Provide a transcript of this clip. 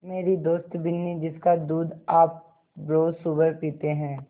मेरी दोस्त बिन्नी जिसका दूध आप रोज़ सुबह पीते हैं